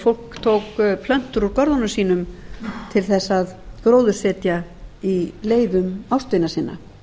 fólk tók plöntur úr görðunum sínum til þess að gróðursetja á leiðum ástvina sinna það